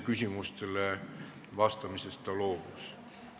Küsimustele vastamisest ta loobus.